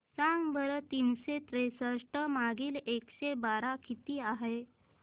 सांगा बरं तीनशे त्रेसष्ट भागीला एकशे बारा किती आहे